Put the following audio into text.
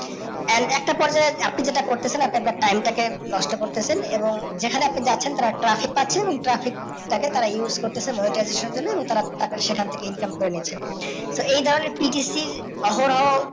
and একটা পর্বে আপনি যেটা করতেছেন আপনার just time টাকে নষ্ট করতেছেন এবং যেখানে আপনি জাচ্ছেন টার একটু আশেপাশে ট্রাফিক টাকে use করতেছেন monetization এর জন্য এবং তারা সেখান থেকে income করে নিচ্ছে। তো এই ধরণের PTC এর অহরহ